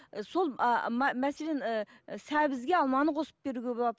сол ааа мәселен ііі сәбізге алманы қосып беруге болады